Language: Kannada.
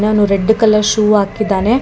ಅವನು ರೆಡ್ ಕಲರ್ ಶೂ ಹಾಕಿದ್ದಾನೆ.